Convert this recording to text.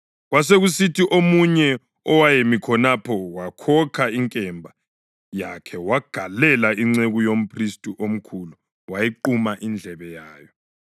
Kwasekusithi omunye owayemi khonapho wakhokha inkemba yakhe wagalela inceku yomphristi omkhulu wayiquma indlebe yayo.